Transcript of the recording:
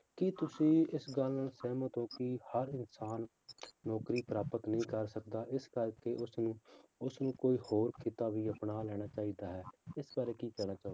ਕੀ ਤੁਸੀਂ ਗੱਲ ਨਾਲ ਸਹਿਮਤ ਹੋ ਕਿ ਹਰ ਇਨਸਾਨ ਨੌਕਰੀ ਪ੍ਰਾਪਤ ਨਹੀਂ ਕਰ ਸਕਦਾ ਇਸ ਕਰਕੇ ਉਸਨੂੰ ਉਸਨੂੰ ਕੋਈ ਹੋਰ ਕਿੱਤਾ ਵੀ ਅਪਣਾ ਲੈਣਾ ਚਾਹੀਦਾ ਹੈ, ਇਸ ਬਾਰੇ ਕੀ ਕਹਿਣਾ ਚਾਹੋਗੇ।